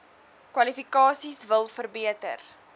kwalifikasies wil verbeter